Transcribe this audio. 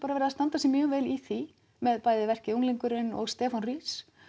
verið að standa sig mjög vel í því með bæði verkið unglingurinn og Stefán rís